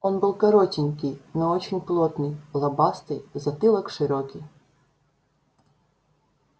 он был коротенький но очень плотный лобастый затылок широкий